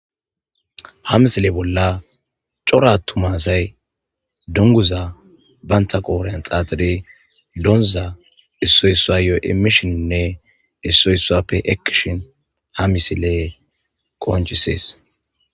Ha misile bolla cora ttumasay dunguza baynta qooren xaaxire doonuza issoyssua yoy emishininne issoyssuappe ekkishin ha misile qoonchisees.